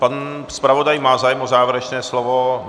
Pan zpravodaj má zájem o závěrečné slovo?